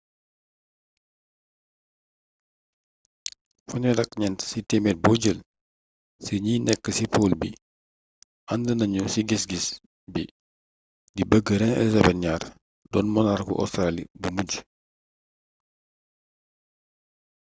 34 ci téemeer bo jël ci ñi nekk ci pool bi ànd nañu ci gis-gis bii di bëgg reine elizabeth ii doon monarku ostaraali bu mujj